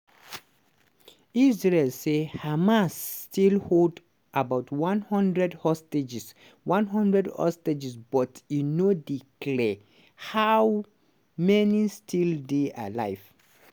israel say hamas still hold about one hundred hostages one hundred hostages but e no dey clear how many still dey alive.